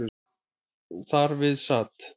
Þar við sat